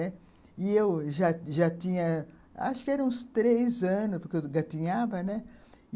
E eu já já tinha, acho que eram uns três anos, porque eu gatinhava, né